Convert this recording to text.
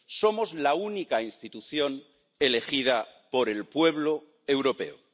Somos la única institución elegida por el pueblo europeo.